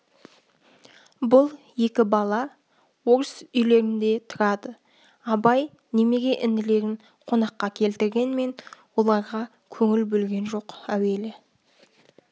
бұл екі бала орыс үйлерінде тұрады абай немере інілерін қонаққа келтіргенмен оларға көңіл бөлген жоқ әуелі